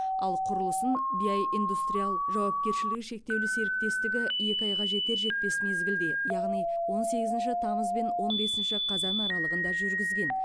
ал құрылысын биай индастриал жауапкершілігі шектеулі серіктесітігі екі айға жетер жетпес мезгілде яғни он сегізінші тамыз бен он бесінші қазан аралығында жүргізген